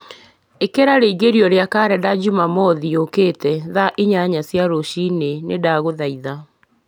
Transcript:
ĩkĩra rĩingĩrio gĩa karenda njumamothi yũkĩte thaa inya cia rũciinĩ ni ndagũthaitha